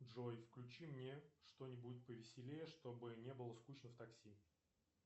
джой включи мне что нибудь повеселее чтобы не было скучно в такси